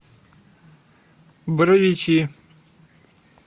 боровичи